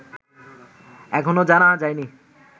এখনো জানা যায়নি